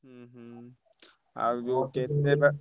ହୁଁ ହୁଁ ଆଉ ଯୋଉ କେତେ ବା,